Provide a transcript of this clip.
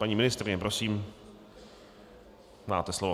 Paní ministryně, prosím, máte slovo.